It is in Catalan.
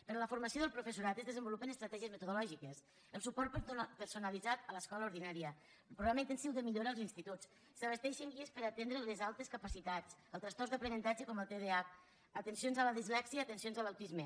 per a la formació del professional es desenvolupen estratègies metodològiques el suport personalitzat a l’escola ordinària el programa intensiu de millora als instituts s’abasteixen guies per atendre les altes capacitats els trastorns d’aprenentatge com el tdah atencions a la dislèxia i atencions a l’autisme